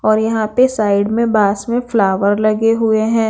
और यहाँ पे साइड में बास में फ्लावर लगे हुए हैं।